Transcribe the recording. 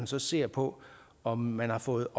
så ser på om man har fået